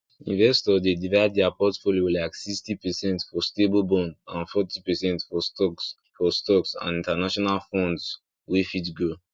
investors dey divide their portfolio like 60 percent for stable bond and forty percent for stocks for stocks and international funds wey fit grow